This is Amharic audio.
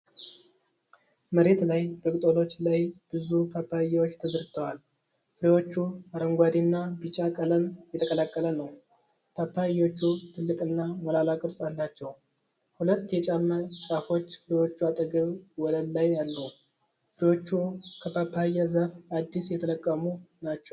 መሬት ላይ በቅጠሎች ላይ ብዙ ፓፓያዎች ተዘርግተዋል። ፍሬዎቹ አረንጓዴና ቢጫ ቀለም የተቀላቀለ ነው። ፓፓያዎቹ ትልቅና ሞላላ ቅርፅ አላቸው። ሁለት የጫማ ጫፎች ፍሬዎቹ አጠገብ ወለል ላይ አሉ። ፍሬዎቹ ከፓፓያ ዛፍ አዲስ የተለቀሙ ናቸው።